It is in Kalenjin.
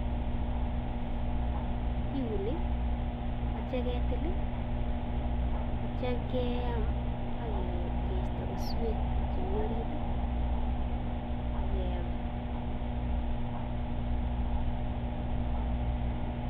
Kiuni akitya ketil akitya keyam akeistoi keswek chemii orit akeyam